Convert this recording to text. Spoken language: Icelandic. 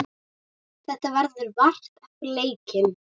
Þetta verður vart eftir leikið.